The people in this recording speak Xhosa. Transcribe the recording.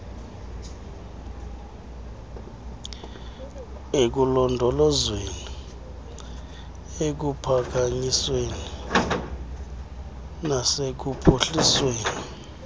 ekulondolozweni ekuphakanyisweni nasekuphuhlisweni